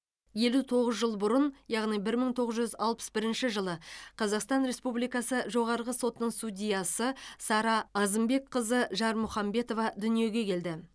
елу тоғыз жыл бұрын яғни бір мың тоғыз жүз алпыс бірінші жылы қазақстан республикасы жоғарғы сотының судьясы сара азымбекқызы жармұхамбетова дүниеге келді